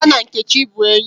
Ada na Nkechi bu enyi